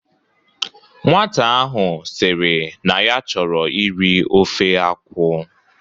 Nwata ahụ sịrị na ya chọrọ iri ofe akwụ